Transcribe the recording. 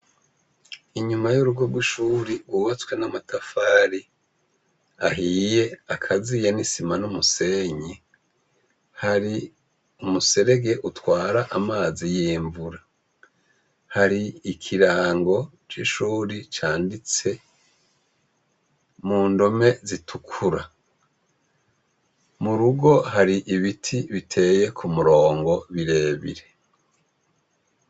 Inyuma y'urugo rw'ishure rwubatswe n'amatafari ahiye akaziye n'isima n'umusenyi, hari umuserege utwara amazi y'imvura. Hari ikirango c'ishuri canditse mu ndome zitukura. Mu rugo hari ibiti biteye ku murongo birebire.